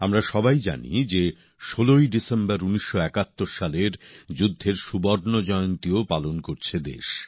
আমরা সবাই জানি যে ১৬ই ডিসেম্বর ১৯৭১ সালের যুদ্ধের সুবর্ণজয়ন্তীও পালন করছে দেশ